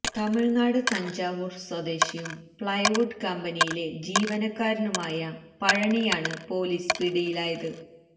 തമിഴ്നാട് തഞ്ചാവൂര് സ്വദേശിയും പ്ലൈവുഡ് കമ്പനിയിലെ ജീവനക്കാരനുമായ പഴനിയാണ് പൊലീസ് പിടിയിലായത്